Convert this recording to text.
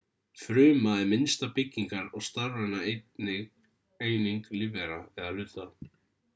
fruma er minnsta byggingar- og starfræna eining lífvera hluta